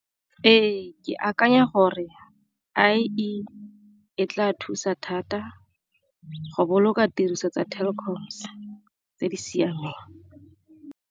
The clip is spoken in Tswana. Ee, ke akanya gore e tla thusa thata go boloka tiriso tsa telecoms tse di siameng.